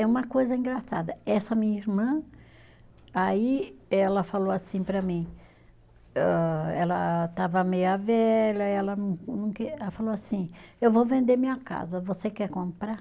É uma coisa engraçada, essa minha irmã, aí ela falou assim para mim, âh ela estava meia velha, ela não não que, ela falou assim, eu vou vender minha casa, você quer comprar?